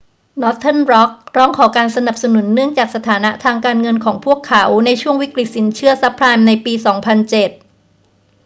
northern rock ร้องขอการสนับสนุนเนื่องจากสถานะทางการเงินของพวกเขาในช่วงวิกฤตสินเชื่อซับไพรม์ในปี 2007